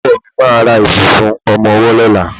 Ọkọ mi ma ra ìbùsùn ọmọwọ́ lọ́la.